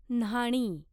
न्हाणी